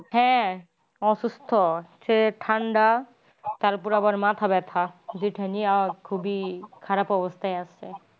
হ্যা অসুস্থ হচ্ছে ঠান্ডা তার ওপর আবার মাথা ব্যাথা যেটা নিয়ে খুবই খারাপ অবস্থায় আছে